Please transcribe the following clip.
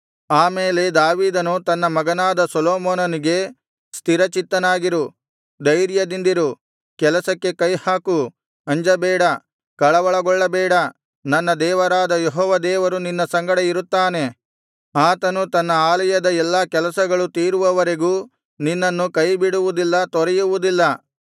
ಆ ಮೇಲೆ ದಾವೀದನು ತನ್ನ ಮಗನಾದ ಸೊಲೊಮೋನನಿಗೆ ಸ್ಥಿರಚಿತ್ತನಾಗಿರು ಧೈರ್ಯದಿಂದಿರು ಕೆಲಸಕ್ಕೆ ಕೈಹಾಕು ಅಂಜಬೇಡ ಕಳವಳಗೊಳ್ಳಬೇಡ ನನ್ನ ದೇವರಾದ ಯೆಹೋವ ದೇವರು ನಿನ್ನ ಸಂಗಡ ಇರುತ್ತಾನೆ ಆತನು ತನ್ನ ಆಲಯದ ಎಲ್ಲಾ ಕೆಲಸಗಳು ತೀರುವವರೆಗೂ ನಿನ್ನನ್ನು ಕೈಬಿಡುವುದಿಲ್ಲ ತೊರೆಯುವುದಿಲ್ಲ